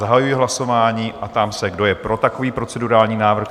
Zahajuji hlasování a ptám se, kdo je pro takový procedurální návrh?